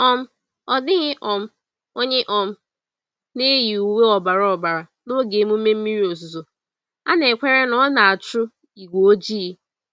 um Ọ dịghị um onye um na-eyi uwe ọbara ọbara n'oge emume mmiri ozuzo—a na-ekwere na ọ na-achụ igwe ojii.